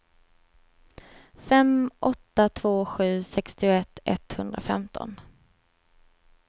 fem åtta två sju sextioett etthundrafemton